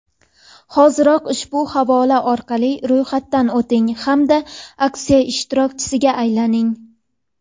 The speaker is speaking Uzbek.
Hoziroq ushbu havola orqali ro‘yxatdan o‘ting hamda aksiya ishtirokchisiga aylaning!.